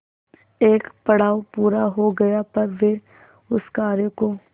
एक पड़ाव पूरा हो गया पर वे उस कार्य को